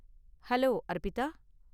hello, Arpita